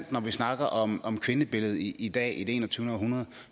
når vi snakker om om kvindebilledet i i dag i det enogtyvende århundrede